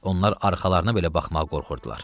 Onlar arxalarına belə baxmağa qorxurdular.